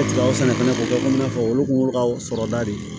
fana kɔfɛ i n'a fɔ olu kun y'olu ka sɔrɔda de ye